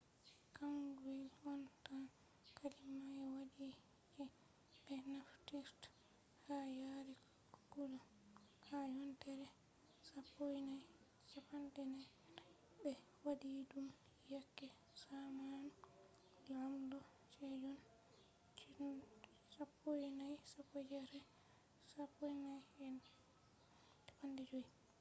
hanguwel on tan kalima ɓe waɗi je ɓe naftirta ha yare kullum. ha yontere 1444 ɓe waɗi ɗum yake zamanu laamdo sejon 1418 – 1450